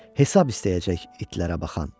Hesab istəyəcək itlərə baxan.